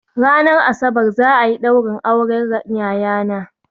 Ranar Asabar za a yi ɗaurin auren yayana